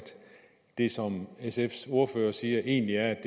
det som sfs ordfører siger egentlig er